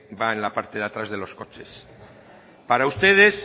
va en la parte de atrás de los coches para ustedes